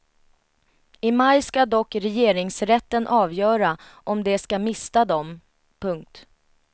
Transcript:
I maj skall dock regeringsrätten avgöra om de skall mista dem. punkt